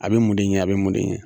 A bɛ mun de yan a bɛ mun de yan.